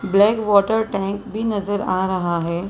Black water tank भी नजर आ रहा है।